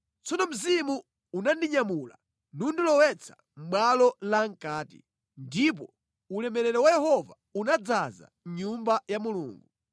Tsono Mzimu unandinyamula nundilowetsa mʼbwalo lamʼkati, ndipo ulemerero wa Yehova unadzaza Nyumba ya Mulungu.